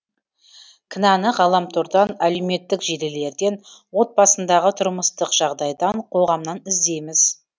кінәні ғаламтордан әлеуметтік желілерден отбасындағы тұрмыстық жағдайдан қоғамнан іздейміз